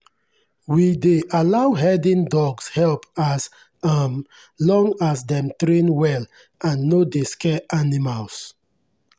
we dey allow herding dogs help as um long as dem train well and no dey scare animals.